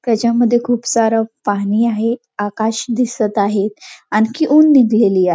त्याच्या मध्ये खुप सार पाणी आहे आकाश दिसत आहे आणखी ऊन निघलेली आ--